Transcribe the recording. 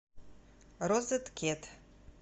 розеткед